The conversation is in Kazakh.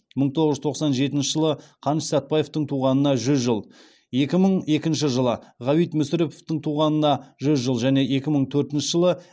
мың тоғыз жүз тоқсан жетінші жылы қаныш сәтбаевтың туғанына жүз жыл екі мың екінші жылы ғабит мүсіреповтің туғанына жүз жыл және екі мың төртінші жылы